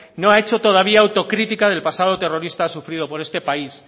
no ha hecho todavía autocritica del pasado terrorista sufrido por este país